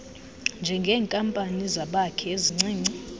njengeenkampani zabakhi ezincinci